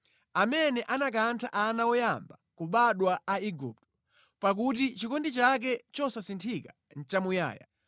Amene anakantha ana woyamba kubadwa a Igupto, pakuti chikondi chake chosasinthika nʼchamuyaya.